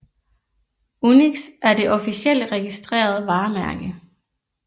UNIX er det officielle registrerede varemærke